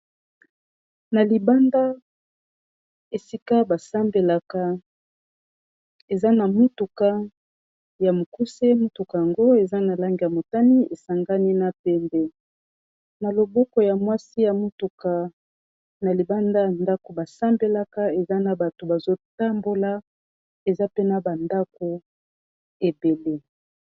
na libanda esika basambelaka eza na motuka ya mokuse motuka yango eza na lange ya motani esangani na pembe na loboko ya mwasi ya motuka na libanda ya ndako basambelaka eza na bato bazotambola eza pena bandako ebele